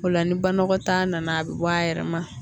O la ni banakɔtaa nana a bɛ bɔ a yɛrɛ ma